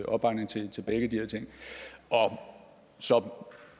opbakning til til begge de her ting og så